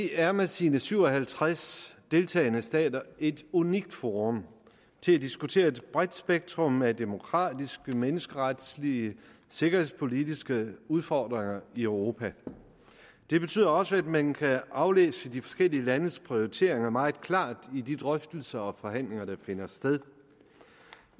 er med sine syv og halvtreds deltagende stater et unikt forum til at diskutere et bredt spektrum af demokratiske menneskeretlige sikkerhedspolitiske udfordringer i europa det betyder også at man kan aflæse de forskellige landes prioriteringer meget klart i de drøftelser og forhandlinger der finder sted